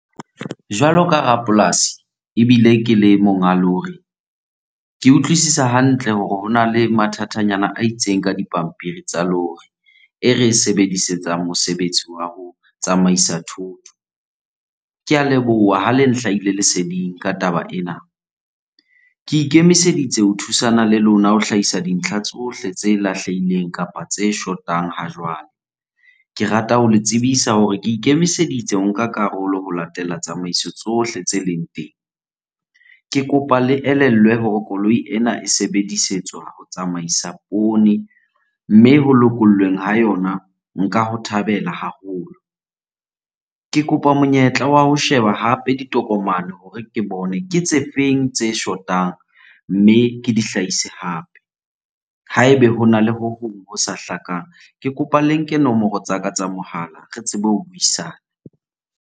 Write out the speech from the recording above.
Jwalo ka rapolasi ebile ke le monga lori. Ke utlwisisa hantle hore hona le mathatanyana a itseng ka dipampiri tsa lori e re e sebedisetsang mosebetsi wa ho tsamaisa thoto. Ke a leboha ha le nhlahile leseding ka taba ena. Ke ikemiseditse ho thusana le lona ho hlahisa dintlha tsohle tse lahlehileng kapa tse shotang ha jwale. Ke rata ho le tsebisa hore ke ikemiseditse ho nka karolo ho latela tsamaiso tsohle tse leng teng. Ke kopa le elellwe hore koloi ena e sebedisetswa ho tsamaisa poone mme ho lokollweng ha yona, nka ho thabela haholo. Ke kopa monyetla wa ho sheba hape ditokomane hore ke bone ke tse feng tse shotang mme ke di hlahise hape. Ha ebe hona le ho hong ho sa hlakang, ke kopa le nke nomoro tsa ka tsa mohala re tsebe ho buisana.